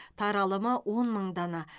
таралымы он мың дана